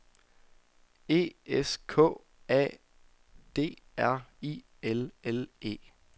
E S K A D R I L L E